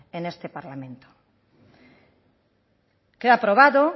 en este parlamento queda probado